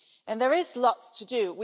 There is lots to do.